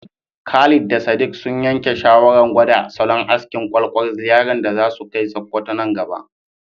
Khalid da Sadiq sun yanke shawarar gwada salon askin ƙwaƙwal ziyarar da za su kai Sokoto nan gaba.